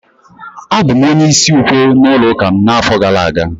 Abụ m onye isi ukwe n'ụlọ ụka m n'afọ gara aga